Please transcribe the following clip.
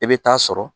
I bɛ taa sɔrɔ